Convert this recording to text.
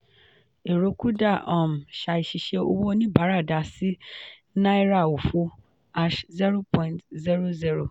ẹ̀rọ kuda um ṣàìṣiṣẹ́ owó oníbàárà dà sí náírà òfo hash zero point zero zero.